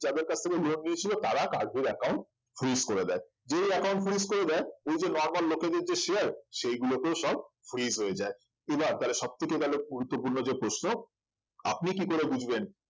যাদের কাছ থেকে lone নিয়েছিল তারা কার্ভির account fridge করে দেয় যেই account fridge করে দেয় ওই যে normal লোকেদের share সেগুলোকেও সব fridge হয়ে যায় এই বার তাহলে সবথেকে তাহলে গুরুত্বপূর্ণ যে প্রশ্ন আপনি কি করে বুঝবেন